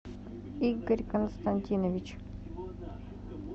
игорь константинович